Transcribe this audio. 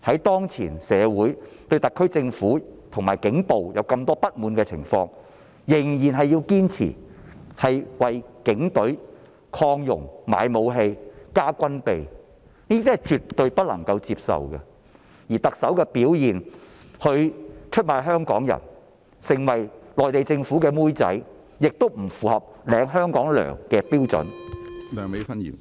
當現時社會對特區政府和警暴有這麼多不滿的情況下，預算案仍然堅持為警隊擴容、買武器、加軍備，這是絕對不能接受的，而特首的表現，她出賣香港人，成為內地政府的"妹仔"，亦不符合受薪於香港的標準。